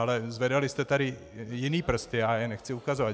Ale zvedali jste tady jiné prsty, já je nechci ukazovat.